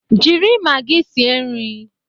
Jiri magi sie nri